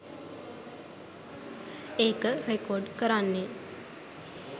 ඒක රෙකෝඩ් කරන්නේ